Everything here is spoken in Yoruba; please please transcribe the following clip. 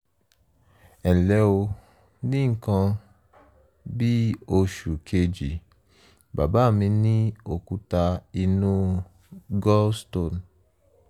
ẹnlẹ́ o ní nǹkan bí oṣù kejì bàbá mi ní òkúta inú - gallstone